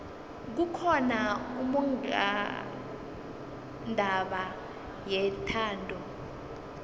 kukhona ummongondaba yethando